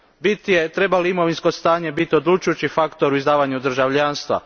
Bit je treba li imovinsko stanje biti odlučujući faktor u izdavanju državljanstva?